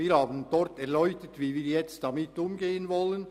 Dort haben wir erläutert, wie wir nun damit umgehen wollen.